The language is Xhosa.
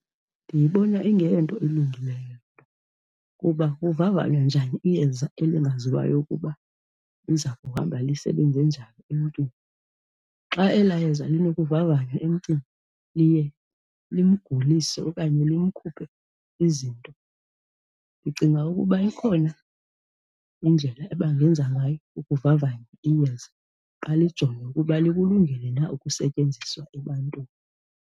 Ndiyibona ingeyonto ilungileyo kuba kuvavanywa njani iyeza elingaziwayo ukuba liza kuhamba lisebenze njani emntwini. Xa ela yeza linokuvavanywa emntwini liye limgulise okanye limkhuphe izinto. Ndicinga ukuba ikhona indlela abangenza ngayo ukuvavanya iyeza, balijonge ukuba likulungele na ukusetyenziswa ebantwini.